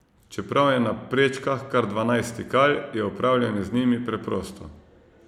Čeprav je na prečkah kar dvanajst stikal, je upravljanje z njimi preprosto.